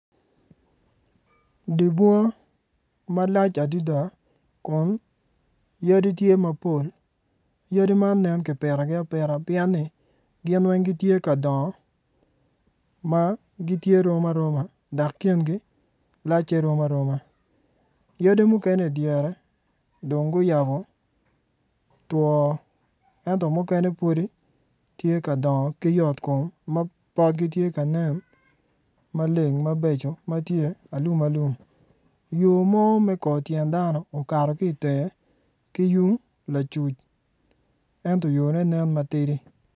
Dye bunga malac adada kun yadi tye mapol yadi man nen ki pitogi apita pyen ni gin weng gitye ka dongo ma gitye rom aroma dok kingi lacce rom aroma yadi mukene idyere dong guyabo two enot mukene pudi tye ka dongo ki yot kom ma potgi tye ka nen maleng mabeco matye alum alum yo mo me kor tyen dano okato ki tenge ki yung lacuc ento yo ne nen matidi.